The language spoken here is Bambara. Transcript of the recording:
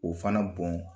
O fana bɔn